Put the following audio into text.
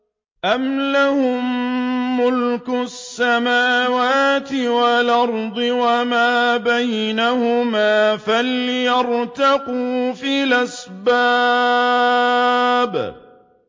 أَمْ لَهُم مُّلْكُ السَّمَاوَاتِ وَالْأَرْضِ وَمَا بَيْنَهُمَا ۖ فَلْيَرْتَقُوا فِي الْأَسْبَابِ